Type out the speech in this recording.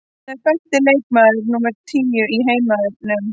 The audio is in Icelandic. Hann er besti leikmaður númer tíu í heiminum.